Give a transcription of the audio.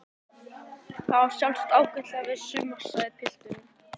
Það á sjálfsagt ágætlega við suma sagði pilturinn.